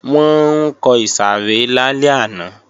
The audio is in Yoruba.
Wọ́n ń kọ ìsàrẹ́ lálẹ́ àná